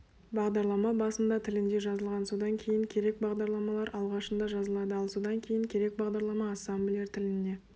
бағдарлама басында тілінде жазылған содан кейін керек бағдарламалар алғашында жазылады ал содан кейін керек бағдарлама ассемблер тіліне